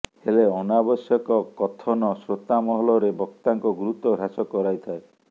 ହେଲେ ଅନାବଶ୍ୟକ କଥନ ଶ୍ରୋତାମହଲରେ ବକ୍ତାଙ୍କ ଗୁରୁତ୍ବ ହ୍ରାସ କରାଇଥାଏ